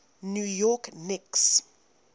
new york knicks